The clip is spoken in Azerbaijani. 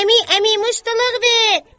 Əmi, əmi, muştuluq ver!